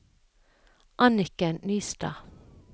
Anniken Nystad